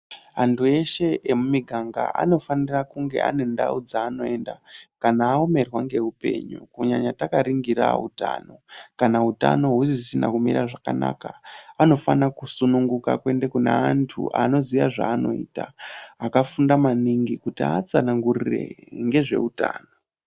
Antu eshe emumiganga anofanira kunge ane ndau dzaanoenda kana aomerwa ngeupenyu kunyanya takaringira utano .Kana utano usisina kumira zvakanaka anofanira kusununguka kuende kune antu anoziya zvaanoita, akafunda maningi kuti aatsanangurire ngezveutano.